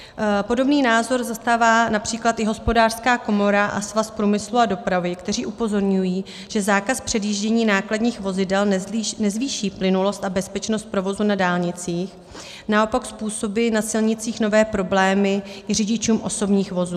Podobný názor zastává například i Hospodářská komora a Svaz průmyslu a dopravy, které upozorňují, že zákaz předjíždění nákladních vozidel nezvýší plynulost a bezpečnost provozu na dálnicích, naopak způsobí na silnicích nové problémy i řidičům osobních vozů.